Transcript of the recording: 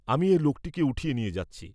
আমি এ লোকটিকে উঠিয়ে নিয়ে যাচ্ছি।